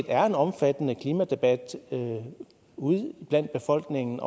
er en omfattende klimadebat ude i befolkningen